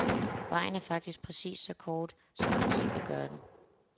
Vejen er faktisk præcis så kort, som man selv vil gøre den.